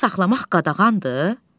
Arı saxlamaq qadağandır?